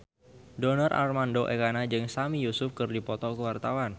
Donar Armando Ekana jeung Sami Yusuf keur dipoto ku wartawan